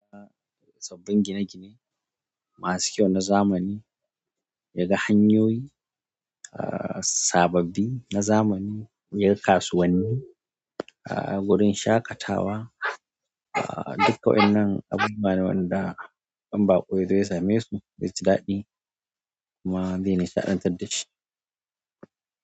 Sabbin gine-gine masu kyau na zamani, yaga hanyoyi, sababbi na zamani, yaga kasuwanni, gurin shaƙatawa, dukka wa'yannan abubuwa ne wanda in baƙo yazo ya same su zai ji daɗi kuma zai nishaɗantar dashi.